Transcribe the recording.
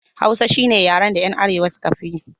Hausa shine yaren da 'yan arewa suka fi yi